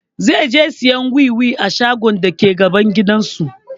Zai je sayan wiwi a shagon dake gaban gidan su